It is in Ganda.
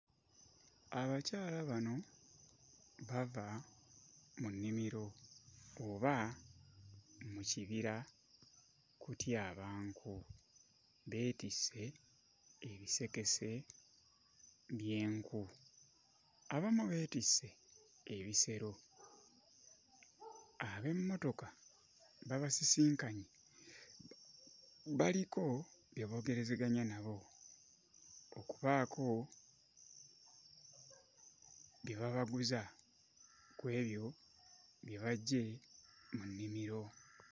Abakyala bano bava mu nnimiro oba mu kibira kutyaba nku, beetisse ebisekese by'enku, abamu beetisse ebisero. Abemmotoka babasisinkanye, baliko bye boogerezeganya nabo okubaako bye babaguza ku ebyo bye baggye mu nnimiro.